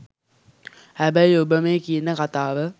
හැබැයි ඔබ මේ කියන කතාව